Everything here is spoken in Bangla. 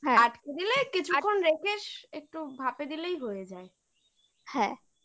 হ্যাঁ আটকে দিলে কিছুক্ষণ রেখে একটু ভাপে দিলেই হয়ে যায় হ্যাঁ ok